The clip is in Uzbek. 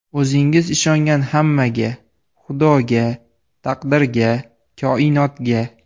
O‘zingiz ishongan hammaga: Xudoga, taqdirga, koinotga!